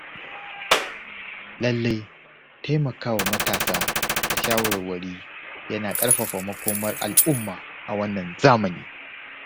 Lallai taimakawa matasa da shawarwari yana ƙarfafa makomar al’umma a wannan zamani.